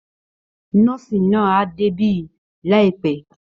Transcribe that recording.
Nọ́ọ̀sì náà á débí láìpẹ́